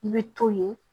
I bɛ to ye